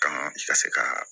Kan ka se ka